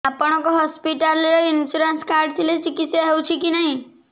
ଆପଣଙ୍କ ହସ୍ପିଟାଲ ରେ insurance card ଥିଲେ ଚିକିତ୍ସା ହେଉଛି କି ନାଇଁ